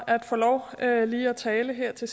så